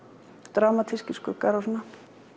dramatískir skuggar og svona